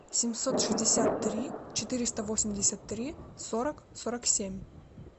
семьсот шестьдесят три четыреста восемьдесят три сорок сорок семь